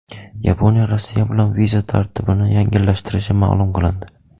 Yaponiya Rossiya bilan viza tartibini yengillashtirishi ma’lum qilindi.